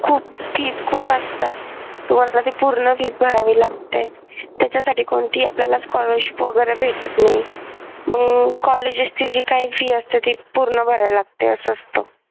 खूप fees खूप असतात तुम्हाला ती पूर्ण फी भरावी लागते त्याच्यासाठी आपल्याला कोणती scholarship वगैरे भेटत नाही मग कॉलेजची जी काही fee असेल ती पुन्हा भरायला लागते असं असत.